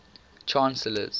chancellors